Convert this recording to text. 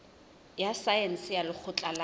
ya saense ya lekgotleng la